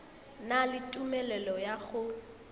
na le tumelelo ya go